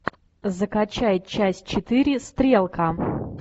закачай часть четыре стрелка